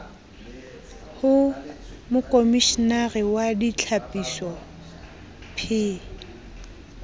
ho mokomishenare wa ditlhapiso p